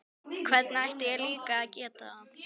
Hvernig ætti ég líka að geta það?